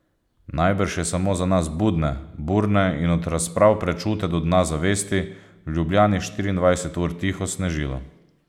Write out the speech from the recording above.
Najbrž je samo za nas budne, burne in od razprav prečute do dna zavesti, v Ljubljani štiriindvajset ur tiho snežilo.